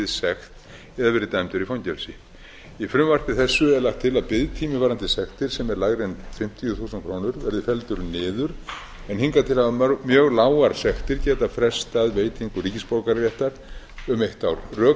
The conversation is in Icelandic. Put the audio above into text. eða verið dæmdur í fangelsi í frumvarpi þessu er lagt til að biðtími varðandi sektir sem er lægri en fimmtíu þúsund krónur verði felldur niður en hingað til hafa mjög lágar sektir getað frestað veitingu ríkisborgararéttar um eitt ár rök